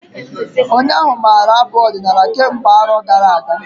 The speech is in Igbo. Onye ahụ maara abụ ọdinala kemgbe arọ gara-aga.